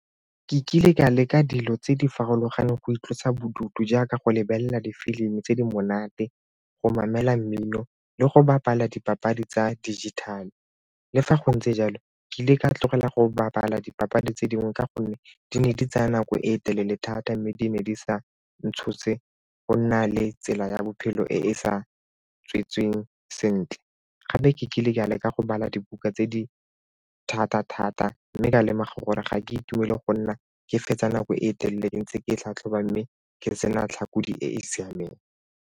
Ke kile ka leka dilo tse di farologaneng go itlosa bodutu jaaka go lebelela difilimi tse di monate, go mmino le go bapala dipapadi tsa dijithale. Le fa go ntse jalo, ke ile ka tlogela go bapala dipapadi tse dingwe ka gonne di ne di tsaya nako e telele thata mme di ne di sa ntshose go nna le tsela ya bophelo e e sa tswetsweng sentle. Gape ke kile ke a leka go bala dibuka tse di thata-thata mme ka lemoga gore ga ke itumele go nna ke fetsa nako e telele ntse ke tlhatlhoba mme ke sena e e siameng.